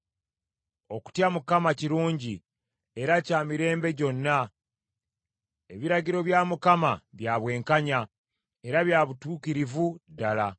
Okutya Mukama kirungi, era kya mirembe gyonna. Ebiragiro bya Mukama bya bwenkanya, era bya butuukirivu ddala.